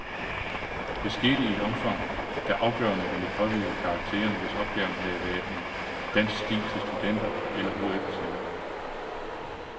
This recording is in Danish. Det skete i et omfang, der afgørende ville påvirke karakteren, hvis opgaven havde været en dansk stil til studenter- eller hf-eksamen.